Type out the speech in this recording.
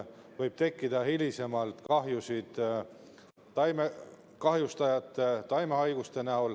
Võib ka tekkida hilisemalt kahjusid taimekahjurite ja taimehaiguste tõttu.